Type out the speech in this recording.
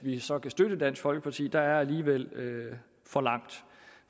vi så kan støtte dansk folkeparti er der alligevel for langt